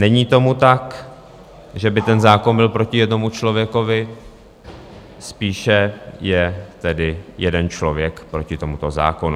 Není tomu tak, že by ten zákon byl proti jednomu člověkovi, spíše je tedy jeden člověk proti tomuto zákonu.